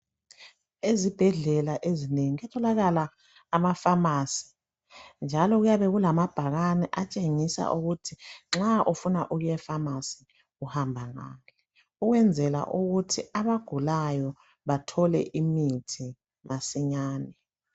Ezibhedlela ezinengi kuyatholakala amafamasi njalo kuyabe kulamabhakane atshengisa ukuthi nxa ufuna ukuyefamasi uhamba ngaphi. Ukwenzela ukuthi abagulayo bathole imithi masinyane.